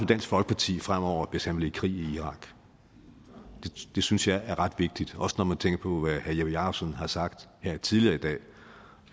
dansk folkeparti fremover hvis han ville i krig i irak det synes jeg er ret vigtigt også når man tænker på hvad herre jeppe jakobsen har sagt tidligere i dag